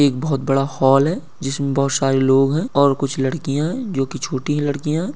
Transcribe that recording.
एक बहोत बड़ा हॉल है जिसमें बहोत सारे लोग हैं और कुछ लड़कियां हैं जो की छोटी लड़कियां हैं।